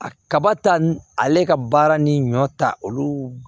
A kaba ta ale ka baara ni ɲɔ ta olu